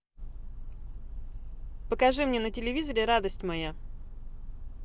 покажи мне на телевизоре радость моя